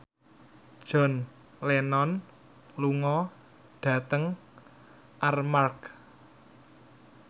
John Lennon lunga dhateng Armargh